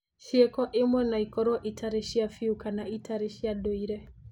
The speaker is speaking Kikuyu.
Ciĩko imwe no ikorũo itarĩ cia biũ kana itarĩ cia ndũire.